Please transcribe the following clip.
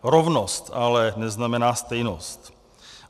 Rovnost ale neznamená stejnost.